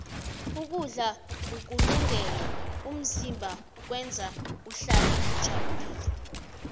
ukudla ukulungele umzimba kwenza uhlale ujabulile